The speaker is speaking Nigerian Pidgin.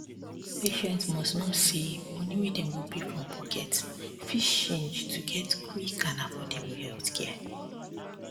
patients must know say money wey dem go pay from pocket fit change to get quick and affordable healthcare